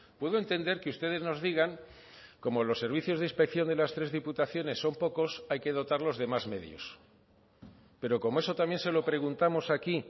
puedo entender que ustedes nos digan como los servicios de inspección de las tres diputaciones son pocos hay que dotarlos de más medios pero como eso también se lo preguntamos aquí